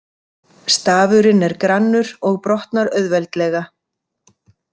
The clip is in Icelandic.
Stafurinn er grannur og brotnar auðveldlega.